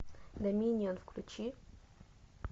доминион включи